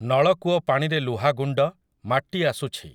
ନଳକୂଅ ପାଣିରେ ଲୁହlଗୁଣ୍ଡ, ମାଟି ଆସୁଛି